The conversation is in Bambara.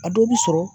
A dɔw bi sɔrɔ